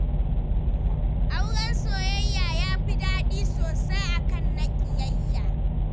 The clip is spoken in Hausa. Auren soyayya ya fi daɗi sosai a kan na ƙiyayya